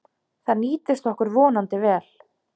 Það nýtist okkur vonandi vel.